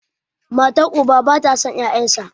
matar uba ba ta son 'ya'yansa